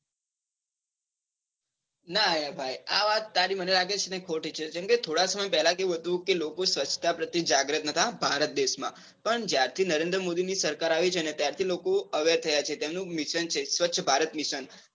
ના યાર ભાઈ આ વાત તારી છે ને ખોટી છે. જેમ કે થોડા સમય પેલા કેવું હતું કે લોકો સ્વછતા પ્રત્યે જાગૃત નતા. ભારત દેશ માં પણ જ્યારે થી નરેન્દ્રમોદી ની સરકાર આવી છે. ને ત્યાર થી લોકો અવેર થયા છે, તેમનું એક mission છે સ્વચ્છ ભારત mission